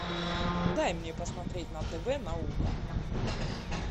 дай мне посмотреть на тв наука